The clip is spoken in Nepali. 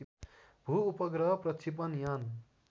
भूउपग्रह प्रक्षेपण यान